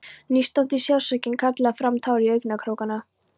Nístandi sársaukinn kallaði fram tár í augnkrókana.